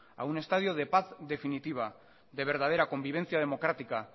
a un estadio de paz definitiva de verdadera convivencia democrática